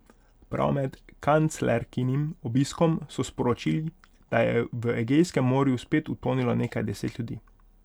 Prav med kanclerkinim obiskom so sporočili, da je v Egejskem morju spet utonilo nekaj deset ljudi.